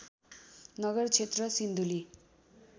नगर क्षेत्र सिन्धुली